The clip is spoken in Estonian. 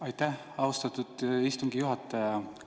Aitäh, austatud istungi juhataja!